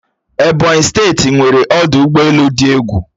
Ebonyi steeti nweere ọdụ ụgbọelu di egwu